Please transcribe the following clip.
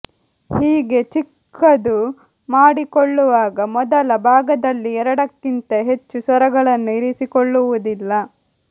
ಹೀಗೆ ಚಿಕ್ಕದು ಮಾಡಿಕೊಳ್ಳುವಾಗ ಮೊದಲ ಭಾಗದಲ್ಲಿ ಎರಡಕ್ಕಿಂತ ಹೆಚ್ಚು ಸ್ವರಗಳನ್ನು ಇರಿಸಿಕೊಳ್ಳುವುದಿಲ್ಲ